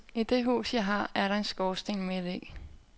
I det hus, jeg har, er der en skorsten midt i.